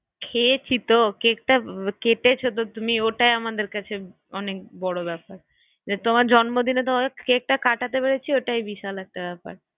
খেয়েছি তো কেকটা কেটেছো তো তুমি ওটাই আমাদের কাছে অনেক বড়ো ব্যাপার যে তোমার জম্নদিনে আর তোমাকে কেকটা কাটাতে পেরেছি ওটাই বিশাল একটা ব্যাপার